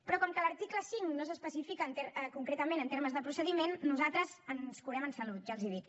però com que a l’article cinc no s’especifica concretament en termes de procediment nosaltres ens curem en salut ja els ho dic